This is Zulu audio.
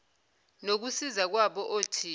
nokusiza kwabo othisha